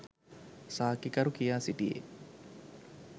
සාක්කිකරු කියා සිටියේ